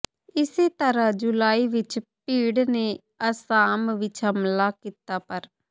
ਇਸੇ ਤਰਾਂ ਜੁਲਾਈ ਵਿਚ ਭੀੜ ਨੇ ਅਸਾਮ ਵਿਚ ਹਮਲਾ ਕੀਤਾ ਪਰ